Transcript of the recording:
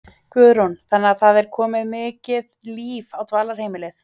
Guðrún: Þannig að það er komið mikið líf á dvalarheimilið?